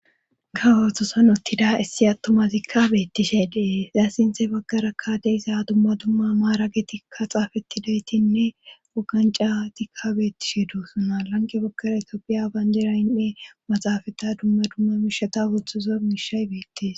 Kawothosan uttida issi attuma zikka beettishe dee zaya sinthe baggara kkaade iza dumma dumma maara getikka xaafettidaytinne wuganca tikka beettishi do suna lanqe baggara itoopiya bayndiraynne maxaafata dumma duma mishata wothdzuzo mishay beettis